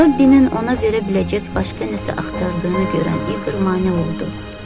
Robbinin ona verə biləcək başqa nəsə axtardığını görəndə İqor mane oldu.